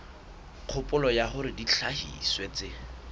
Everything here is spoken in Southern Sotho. kgopolo ya hore dihlahiswa tse